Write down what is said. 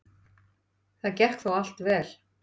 Það gekk þó allt vel.